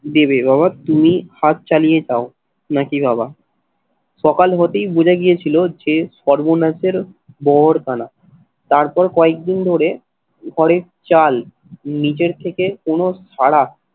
দেবে বাবা তুমি হাত চালিয়ে জাও নাকি বাবা, সকাল হতেই বুঝে গিয়েছিল যে সর্বনাশের মোহর দানা। তারপর কয়েকদিন ধরে ঘরের চাল নিজের থেকে কোনো সাড়া